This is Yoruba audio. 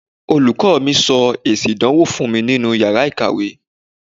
Olùkọ́ mi sọ èsì ìdánwò fún mi nínú iyàrá ìkàwé.